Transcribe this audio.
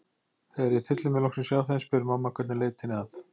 Þegar ég tylli mér loksins hjá þeim spyr mamma hvernig leitinni að